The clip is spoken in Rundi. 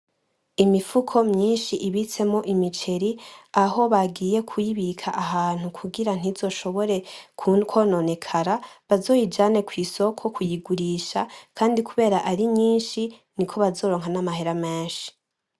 Imifuko myinshi ibitsemwo imiceri, aho bagiye kuyibika ahantu kugira ntizoshobore kwononekara bazoyijane kwisoko kuyigurisha, kandi kubera ari mwinshi niko bazoronka n'amahera menshi.